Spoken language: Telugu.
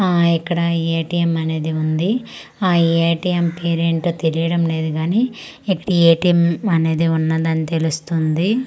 ఆ ఇక్కడ ఏ.టి.ఏం. అనేది ఉంది ఆ ఏ.టి.ఏం. తీరు ఏంటో తెలియడం లేదు కాని ఇక్కడ ఏ.టి.ఏం. ఉన్నది అని తెలుస్తుంది.